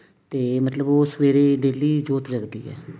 ਤੇ ਮਤਲਬ ਉਹ ਸਵੇਰੇ daily ਜੋਤ ਲੱਗਦੀ ਹੈ